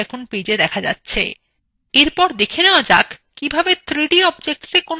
এরপর দেখে নেওয়া যাক কিভাবে 3d objectsএ কোনো effects প্রয়োগ করা যায়